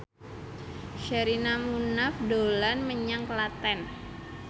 Sherina Munaf dolan menyang Klaten